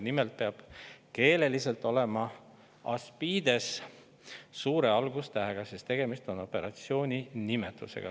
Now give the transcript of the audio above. Nimelt peab keeleliselt olema Aspides suure algustähega, sest tegemist on operatsiooni nimetusega.